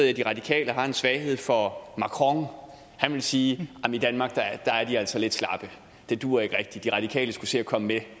at de radikale har en svaghed for macron og han ville sige at i danmark er de altså lidt slappe det duer ikke rigtig de radikale skulle se at komme